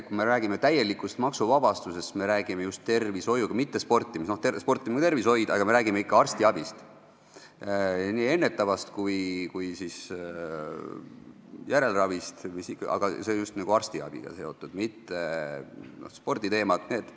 Kui me räägime täielikust maksuvabastusest, siis meie räägime just tervishoiust, mitte sportimisest, sportimine on küll ka tervishoid, aga meie räägime ikka arstiabist, nii ennetavast kui ka järelravist, see on just arstiabiga seotud, siin ei ole sporditeemasid.